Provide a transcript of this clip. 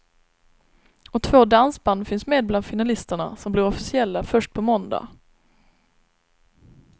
Och två dansband finns med bland finalisterna, som blir officiella först på måndag.